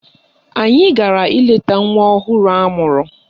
Anyị gara ileta nwa ọhụrụ amụrụ ahụ